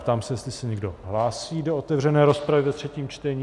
Ptám se, jestli se někdo hlásí do otevřené rozpravy ve třetím čtení.